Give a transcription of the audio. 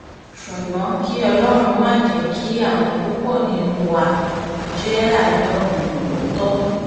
ṣùgbọ́n kí ọlọ́run má jẹ́ kí àwọn púpọ̀ nínú wa jẹ́ adọ́rùn-mọ̀ọ̀tọ̀